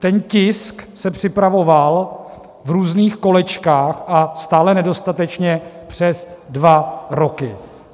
Ten tisk se připravoval v různých kolečkách a stále nedostatečně přes dva roky.